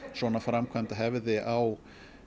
svona framkvæmd hefði á